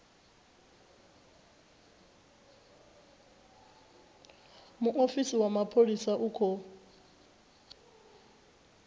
muofisi wa mapholisa u khou